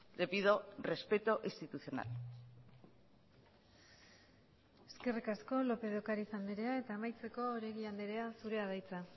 le pido respeto institucional eskerrik asko lópez de ocariz andrea eta amaitzeko oregi andrea zurea da hitza